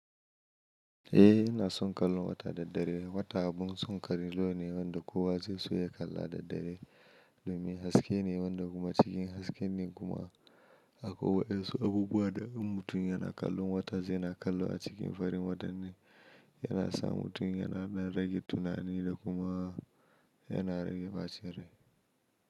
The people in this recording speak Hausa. Eh, ina son kallon wata da dare. Wata abun son kallo ne wanda kowa zai so ya kalla da dare. Domin haske ne wanda kuma cikin haske ne kuma akwai waƴansu abubuwa da in mutum yana kallon wata zai na kallo a cikin farin wata ne, yana sa mutum yana rage tunani da kuma. Yaana rage bacin rai.